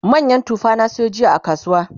manyan tufa na sayo jiya a kasuwa